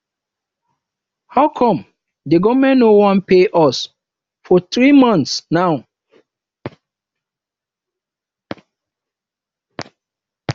how come the government no wan pay us for three months now